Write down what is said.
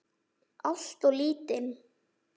Alltof lítinn.